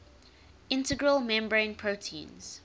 integral membrane proteins